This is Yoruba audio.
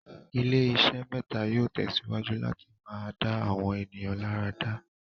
ilé iṣé mẹ́tà yóò tẹ̀síwájú láti máa dá àwọn ènìyàn láradá.